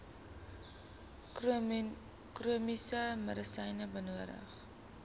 chroniese medisyne benodig